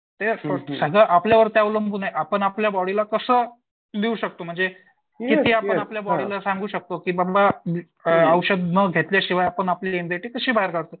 ते सगळं आपल्यावरती अवलंबून आहे आपण आपल्या बॉडीला कसं देऊ शकतो म्हणजे किती आपण आपल्या बॉडीला सांगू शकतो की बाबा अ औषध न घेतल्यामुळे आपण आपली एंझाइटी कशी बाहेर काढू शकतो.